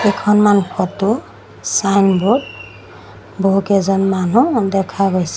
কেইখনমান photo signboard বহুকেইজন মানুহ দেখা গৈছে।